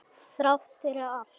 Þrátt fyrir allt.